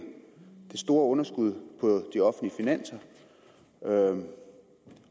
det store underskud på de offentlige finanser og